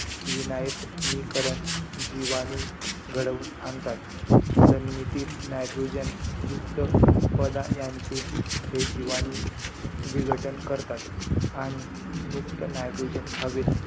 विनायट्नीकरण जिवाणू घडवून आणतात. जमिनीतील nitrogen युक्त पदा यांचे हे जिवाणू विघटन करतात. आणि मुक्त nitrogen हवेत,